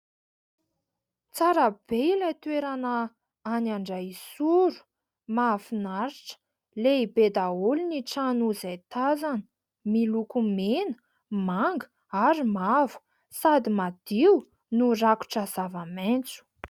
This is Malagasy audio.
Tsara be ilay toerana any Andraisoro mahafinaritra. Lehibe daholo ny trano izay tazana, miloko mena, manga ary mavo sady madio no rakotra zava-maitso.